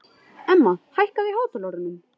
Emma, hækkaðu í hátalaranum.